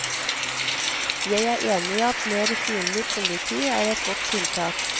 Jeg er enig i at mer synlig politi er et godt tiltak.